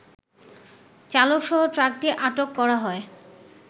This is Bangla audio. চালকসহ ট্রাকটি আটক করা হয়